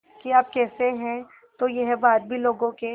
कि आप कैसे हैं तो यह बात भी लोगों के